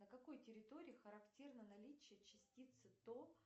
на какой территории характерно наличие частицы то